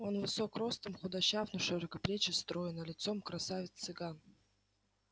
он высок ростом худощав но широкоплеч и строен а лицом красавец цыган